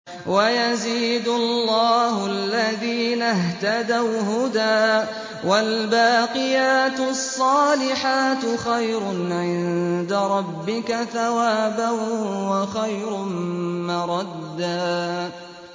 وَيَزِيدُ اللَّهُ الَّذِينَ اهْتَدَوْا هُدًى ۗ وَالْبَاقِيَاتُ الصَّالِحَاتُ خَيْرٌ عِندَ رَبِّكَ ثَوَابًا وَخَيْرٌ مَّرَدًّا